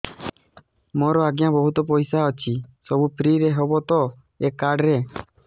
ମୋର ଆଜ୍ଞା ବହୁତ ପଇସା ଅଛି ସବୁ ଫ୍ରି ହବ ତ ଏ କାର୍ଡ ରେ